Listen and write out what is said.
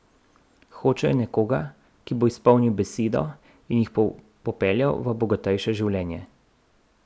Hočejo nekoga, ki bo izpolnil besedo in jih popeljal v bogatejše življenje.